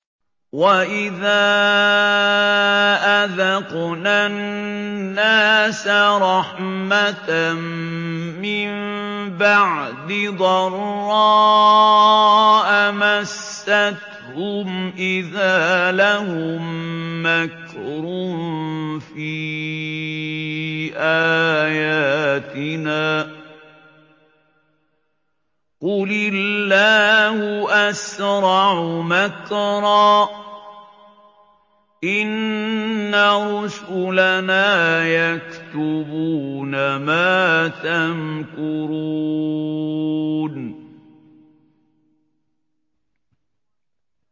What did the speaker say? وَإِذَا أَذَقْنَا النَّاسَ رَحْمَةً مِّن بَعْدِ ضَرَّاءَ مَسَّتْهُمْ إِذَا لَهُم مَّكْرٌ فِي آيَاتِنَا ۚ قُلِ اللَّهُ أَسْرَعُ مَكْرًا ۚ إِنَّ رُسُلَنَا يَكْتُبُونَ مَا تَمْكُرُونَ